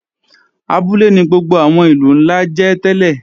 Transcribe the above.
Abúlé ni gbogbo àwọn ìlú ńlá jẹ́ tẹ́lẹ̀